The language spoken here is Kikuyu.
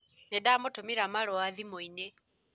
Nĩndamũtũmĩra marũa thimũ-inĩ